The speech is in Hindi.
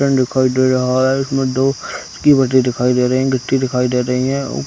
दिखाई दे रहा है इसमें दो गिट्टी दिखाई दे रही है ओ --